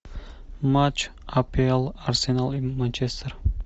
матч апл арсенал и манчестер